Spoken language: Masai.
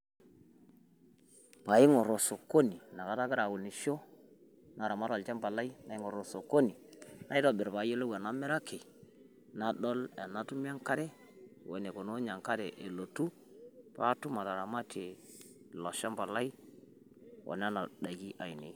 pee aing'or osokoni. naramat olchampa lai, inakata agira aunisho, naitobir pee ayiolou enamiraki, nadol enatumie enkare, wenikununye enkare elotu pee atum ataramtie daikin oilo shampa lai.